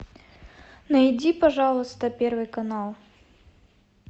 найди пожалуйста первый канал